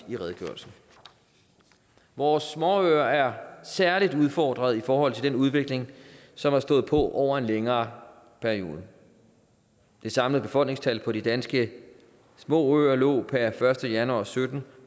i redegørelsen vores småøer er særlig udfordrede i forhold til den udvikling som har stået på over en længere periode det samlede befolkningstal på de danske små øer lå per første januar og sytten